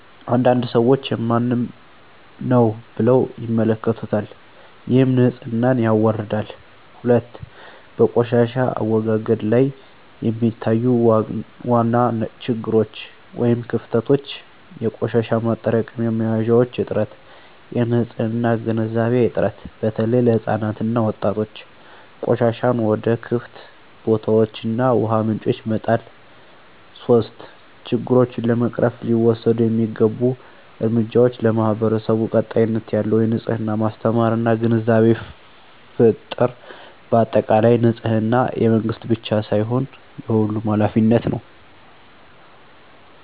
አንዳንድ ሰዎች “የማንም ነው” ብለው ይመለከቱታል፣ ይህም ንፅህናን ያዋርዳል። 2, በቆሻሻ አወጋገድ ላይ የሚታዩ ዋና ችግሮች / ክፍተቶች - የቆሻሻ ማጠራቀሚያ መያዣዎች እጥረት -የንፅህና ግንዛቤ እጥረት (በተለይ ለሕፃናት እና ወጣቶች) -ቆሻሻን ወደ ክፍት ቦታዎች እና ውሃ ምንጮች መጣል 3, ችግሮቹን ለመቅረፍ ሊወሰዱ የሚገቡ እርምጃዎች ,ለማህበረሰቡ ቀጣይነት ያለው የንፅህና ማስተማር እና ግንዛቤ ፍጠር በአጠቃላይ፣ ንፅህና የመንግስት ብቻ ሳይሆን የሁሉም ኃላፊነት ነው።